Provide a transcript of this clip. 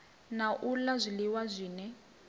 na u la zwiliwa zwine